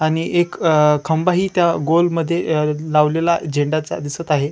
आणि एक अ खंबाही त्या गोल मध्ये अ लावलेला झेंडाचा दिसत आहे.